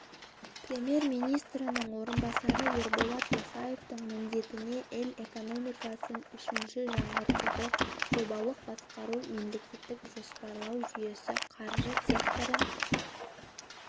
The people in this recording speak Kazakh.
премьер-министрінің орынбасары ерболат досаевтың міндетіне ел экономикасын үшінші жаңғыртуды жобалық басқару мемлекеттік жоспарлау жүйесі қаржы секторын